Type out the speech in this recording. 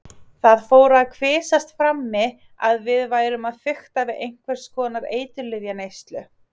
Það fór að kvisast frammi að við værum að fikta við einhvers konar eiturlyfjaneyslu.